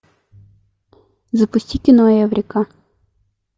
запусти кино эврика